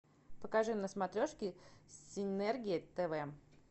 покажи на смотрешке синергия тв